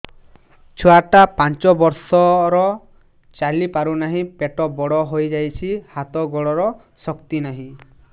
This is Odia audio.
ଛୁଆଟା ପାଞ୍ଚ ବର୍ଷର ଚାଲି ପାରୁନାହଁ ପେଟ ବଡ ହୋଇ ଯାଉଛି ହାତ ଗୋଡ଼ର ଶକ୍ତି ନାହିଁ